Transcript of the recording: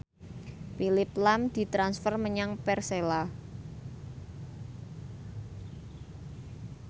Phillip lahm ditransfer menyang Persela